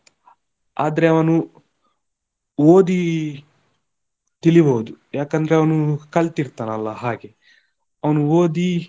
ಆದ್ರೆ ಅವನು ಓದಿ ತಿಳಿಬಹುದು ಯಾಕಂದ್ರೆ ಅವ್ನು ಕಲ್ತಿರ್ತಾನಲ್ಲ ಹಾಗೆ ಅವ್ನು ಓದಿ.